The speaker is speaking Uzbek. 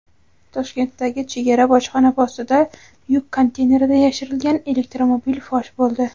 Toshkentdagi chegara bojxona postida yuk konteynerida yashirilgan elektromobil fosh bo‘ldi.